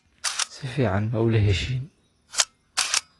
Si fiican ma ula heshiin?